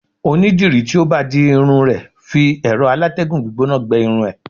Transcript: oni diri ti o ba di irun e fi ero alategun gbígbóná gbe irun e